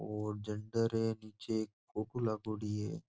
और झंडा र निचे एक फोटो लागोडी है।